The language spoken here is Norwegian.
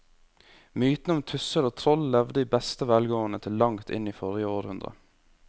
Mytene om tusser og troll levde i beste velgående til langt inn i forrige århundre.